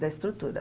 Da estrutura.